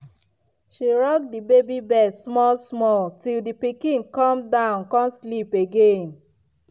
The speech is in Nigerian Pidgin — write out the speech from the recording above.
she rock the baby bed small-small till the pikin calm down con sleep again.